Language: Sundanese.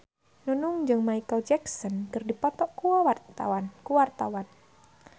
Nunung jeung Micheal Jackson keur dipoto ku wartawan